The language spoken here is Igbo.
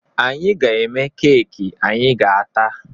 Anyị ga-eme keeki anyị ga-ata